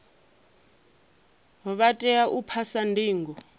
vha tea u phasa ndingo